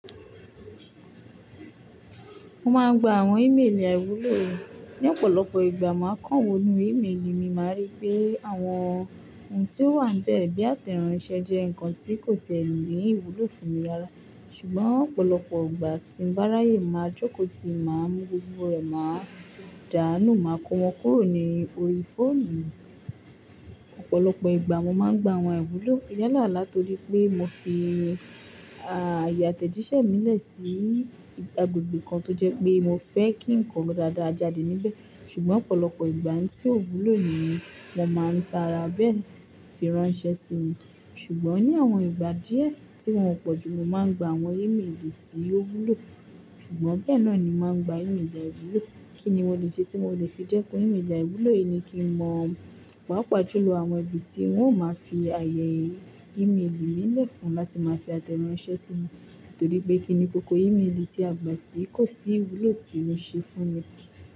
Mo máa ń gba àwọn ìméèlì àìwúlò. Ni ọ̀pọ̀lọpọ̀ ìgbà, máa kàn wọ inú ìméèlì mi, màá rí pé àwọn ohun tí ó wà bẹ́ẹ̀ bí àtẹ̀ránsẹ́ jẹ́ nǹkan tí kò tiẹ̀ ní ìwúlò fún mi rárá. Ṣùgbọ́n ọ̀pọ̀lọpọ̀ ìgbà tí ń bá ráyè, màá jókòó ti máa mú gbogbo rẹ̀, màá dànù, màá kó wọn kúrò ní orí fóònù mi. Ọ̀pọ̀lọpọ̀ ìgbà mo máa ń gba àwọn àìwúlò. Yá là látorí pé mo fi, à, àyè àtẹ̀jíṣẹ́ mi lẹ̀ sí agbègbè kan tó jẹ́ pé mo fẹ́ kí nǹkan dáadáa jáde níbẹ̀. Ṣùgbọ́n ọ̀pọ̀lọpọ̀ ìgbà n tí ò wúlò nì wọ́n máa ń ta ara bẹ́ẹ̀ fi ránṣẹ́ sí mi. Ṣùgbọ́n ní àwọn ìgbà díẹ̀ tí wọ́n pọ̀jù ló máa ń gba àwọn ìméèlì tí ó wúlò. Ṣùgbọ́n bẹ́ẹ̀ náà ni máa ń gba ìméèlì àìwúlò. Kí ni mo lè ṣe tí mo lè fi dẹ́kun ìméèlì àìwúlò yìí ni kí n mọ pàápàá juló àwọn ibi tí wọ́n ó máa fi àyè ìméèlì mi lẹ̀ fún láti máa fi àtẹ̀ránsẹ́ sí mi. Torí pé kí ni kókó ìméèlì tí a gbà tí kò sí ìwúlò tí ó ṣe fún mi.